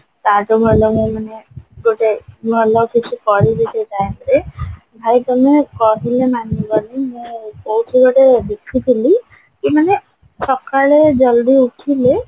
ତା ଠୁ ଭଲ ହବ ମାନେ ଗୋଟେ ଭଲ କିଛି କରିବି ସେଇ time ରେ ଭାଇ ତମେ କହିଲେ ମାନିବନି ମୁଁ କଉଠି ଗୋଟେ ଦେଖିଥିଲି କି ମାନେ ସକାଳେ ଜଲଦି ଉଠିଲେ